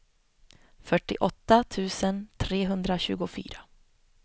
fyrtioåtta tusen trehundratjugofyra